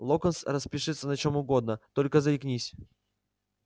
локонс распишется на чем угодно только заикнись